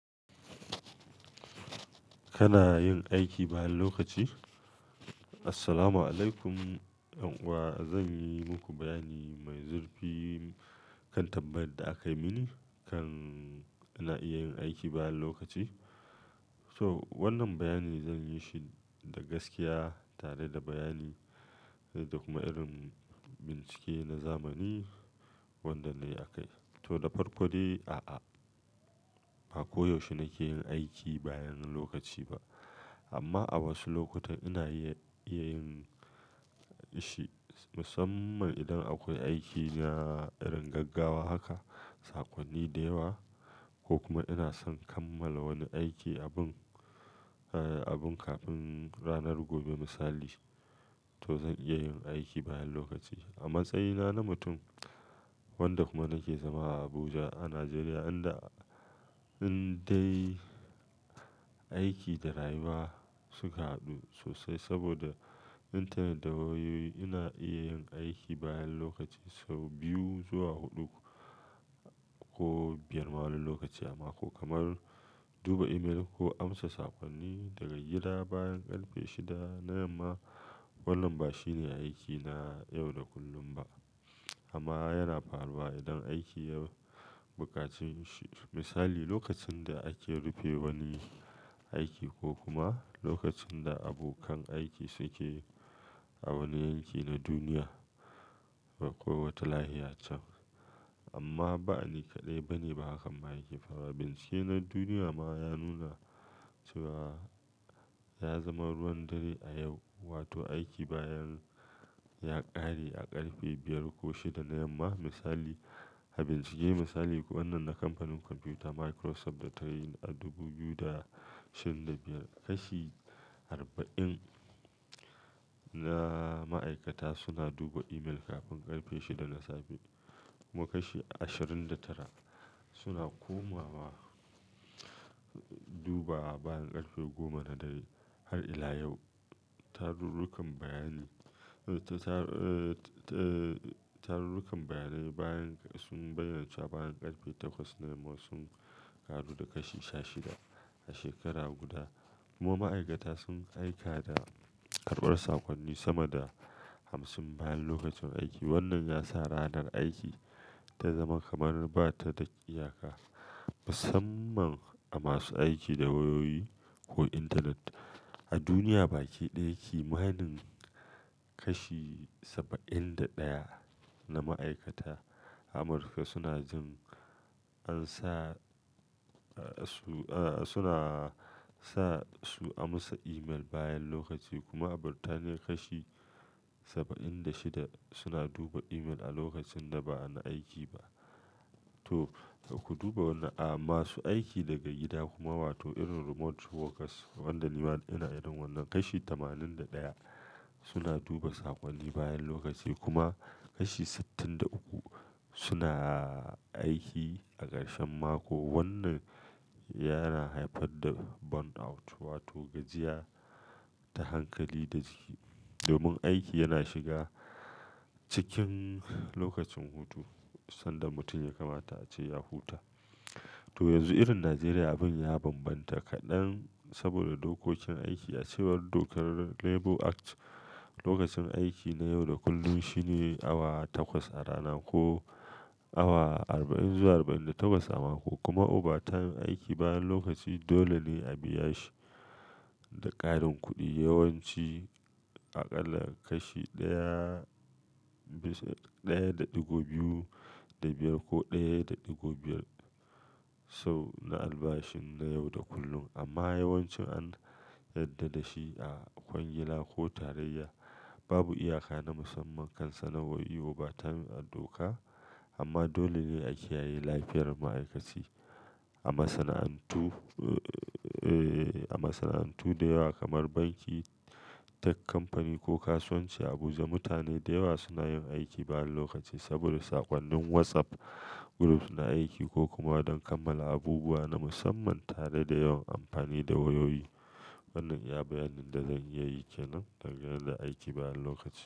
Kana yin aiki bayan lokaci? Assalamualaikum. Ƴan'uwa, zan yi muku bayani mai zurfi kan tambayar da aka yi mini kan ina iya yin aiki bayan lokaci. So wannan bayani zan yi shi da gaskiya tare da bayani da kuma irin bincike na zamani wanda na yi a kai. To, da farko dai a'a, ba koyaushe nake yin aiki bayan lokaci ba. Amma a wasu lokutan ina iya yin shi musamman idan akwai aiki na irin gaggawa haka, saƙonni da yawa ko kuma ina son kammala wani aiki abun, eh, abun kafin ranar gobe misali. To zan iya yin aiki bayan lokaci. A matsayina na mutum wanda kuma nake zama a Abuja a Najeriya inda indai aiki da rayuwa suka haɗu sosai saboda intanet da wayoyi ina iya yin aiki bayan lokaci sau biyu zuwa huɗu ko biyar ma wani lokaci amma ko kamar duba email ko amsa saƙonni daga gida bayan ƙarfe shida na yamma. Wannan ba shine aikina yau da kullum ba amma yana faruwa idan aiki ya buƙace shi. Misali, lokacin da ake rufe wani aiki ko kuma lokacin da abokan aiki suke a wani yanki na duniya akwai wata lahiya can. Amma ba ni kaɗai bane ba hakan ma yake faruwa, bincike na duniya ma ya nuna cewa ya zama ruwan dare a yau wato aiki bayan ya ƙare a ƙarfe biyar ko shida na yamma misali. A bincike misali kuwa wannan na kamfanin kwamfuta Microsoft da ta yi a dubu biyu da sha biyar, kashi arba'in na ma'aikata suna duba email kafin ƙarfe shida na safe kuma kashi ashirin da tara suna komawa duba bayan ƙarfe goma na dare har ila yau. Tarurrukan bayani, eh, ta, tar, eh, tarurrukan bayanai bayan sun bayyana cewa bayan ƙarfe takwas na yamma sun ƙaru da kashi sha shida a shekara guda kuma ma'aikata sun aika da karɓar sakonni sama da hamsin bayan lokacin aiki. Wannan ya sa ranar aiki ta zama kamar ba ta da iyaka musamman a masu aiki da wayoyi ko intanet. A duniya baki ɗaya kimanin kashi saba'in da ɗaya na ma'aikata a Amurka suna jin an sa, eh, su, eh, suna sa su amsa email bayan lokaci kuma a Birtaniya kashi saba'in da shida suna duba email a lokacin da ba na aiki ba. To, ku duba wannan, a masu aiki daga gida kuma wato irin remote workers wanda nima ina irin wannan kashi tamanin da ɗaya suna duba saƙonni bayan lokaci kuma kashi sittin da uku suna aiki a ƙarshen mako. Wannan yana haifar da burnout wato gajiya ta hankali da jiki domin aiki yana shiga cikin lokacin hutu sanda mutum ya kamata a ce ya huta. To yanzu irin Najeriya abin ya bambanta kaɗan saboda dokokin aiki. A cewar dokar Labour Act, lokacin aiki na yau da kullum shine awa takwas a rana ko awa arba'in zuwa arba'in da takwas a mako kuma overtime aiki bayan lokaci dole ne a biya shi da ƙarin kuɗi yawanci aƙalla kashi ɗaya bisa ɗaya da ɗigo biyu da biyar ko ɗaya da ɗigo biyar so na albashin na yau da kullum amma yawanci an yarda da shi a kwangila ko tarayya. Babu iyaka na musamman kan sanarwar yin overtime a doka amma dole ne a kiyaye lafiyar ma'aikaci. A masana'antu, eh, a masana'antu da yawa kamar banki, duk company ko kasuwanci a Abuja, mutane da yawa suna yin aiki bayan lokaci saboda sakonnin WhatsApp groups na aiki ko kuma don kammala abubuwa na musamman tare da yawan amfani da wayoyi. Wannan iya bayanin da zan iya yi kenan dangane da aiki bayan lokaci.